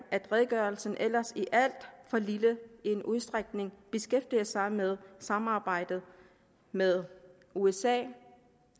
at redegørelsen ellers i alt for lille udstrækning beskæftiger sig med samarbejdet med usa